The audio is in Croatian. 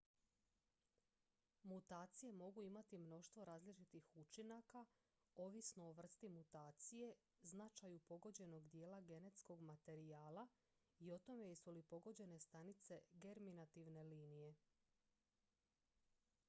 mutacije mogu imati mnoštvo različitih učinaka ovisno o vrsti mutacije značaju pogođenog dijela genetskog materijala i o tome jesu li pogođene stanice germinativne linije